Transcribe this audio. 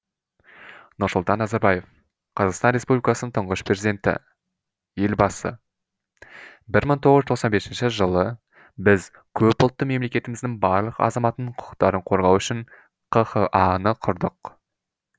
нұрсұлтан назарбаев қазақстан республикасының тұңғыш президенті елбасы бір мың тоғыз жүз тоқсан бесінші жылы біз көпұлтты мемлекетіміздің барлық азаматының құқықтарын қорғау үшін қха ны құрдық